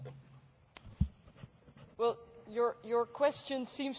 Your question seems to contradict the first part of your statement.